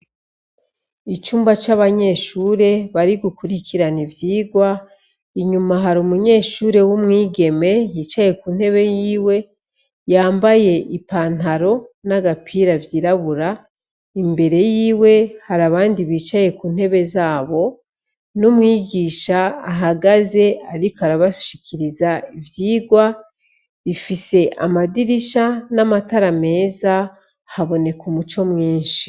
Icumba c'abanyeshure bari gukurikirana ivyigwa, inyuma hari umunyeshure w'umwigeme yicaye ku ntebe yiwe, yambaye ipantaro n'agapira vy'irabura, imbere yiwe hari abandi bicaye ku ntebe zabo, n'umwigisha ahagaze ariko arabashikiriza ivyigwa, ifise amadirisha n'amatara meza haboneka umuco mwinshi.